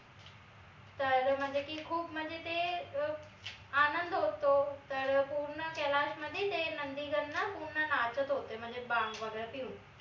तर म्हनजे ती खूप म्हनजे ते अं आनंद होतो तर पूर्ण कैलाश मध्ये ते नंदीगं न पूर्ण नाचत होते म्हनजे भांग वगैरे पिऊन